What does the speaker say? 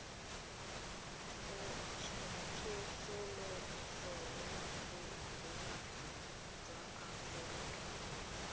tsosoloso ya boagi jwa aforika